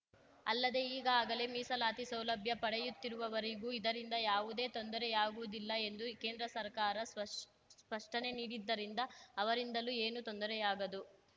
ಅಲ್ಲದೆ ಈಗಾಗಲೇ ಮೀಸಲಾತಿ ಸೌಲಭ್ಯ ಪಡೆಯುತ್ತಿರುವವರಿಗೂ ಇದರಿಂದ ಯಾವುದೇ ತೊಂದರೆಯಾಗುವುದಿಲ್ಲ ಎಂದು ಕೇಂದ್ರ ಸರ್ಕಾರ ಸ್ಪಷ್ ಸ್ಪಷ್ಟನೆ ನೀಡಿದ್ದರಿಂದ ಅವರಿಂದಲೂ ಏನೂ ತೊಂದರೆಯಾಗದು